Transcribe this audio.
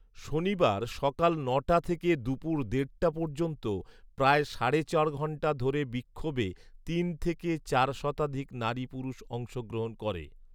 শনিবার সকাল নটা থেকে দুপুর দেড়টা পর্যন্ত প্রায় সাড়ে চার ঘন্টা ধরে বিক্ষোভে তিন থেকে চার শতাধিক নারী পুরুষ অংশগ্রহণ করে